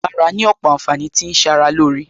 Bàrà ní òpò ànfàní tó ń ṣara lóore